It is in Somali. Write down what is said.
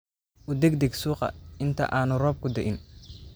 U degdeg suuqa inta aanu roobku di’in